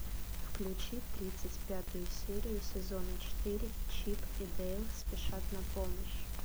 включи тридцать пятую серию сезона четыре чип и дейл спешат на помощь